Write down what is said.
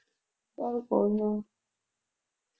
ਚੱਲ ਕੋਈ ਨਾ